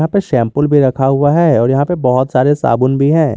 यहां पे शैम्पूल भी रखा हुआ है और यहां पे बहुत सारे साबुन भी है।